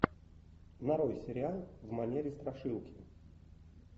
нарой сериал в манере страшилки